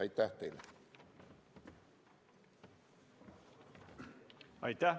Aitäh teile!